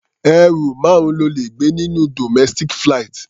Ẹrù márùn-ún lo lè gbé nínú domestic flight.